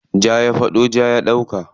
Ja ya faɗo, ja ya ɗauka.